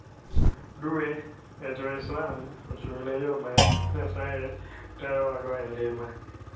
Dwe e jo-Islam ochung'ne yo ma Nyasaye tayowago e ngima.